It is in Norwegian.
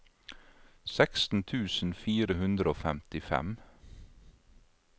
seksten tusen fire hundre og femtifem